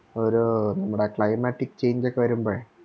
ഒരു നമ്മടെ Climate change ഒക്കെ വരുമ്പഴേ